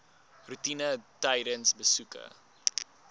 roetine tydens besoeke